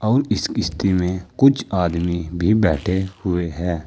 इस किश्ती में कुछ आदमी भी बैठे हुए है।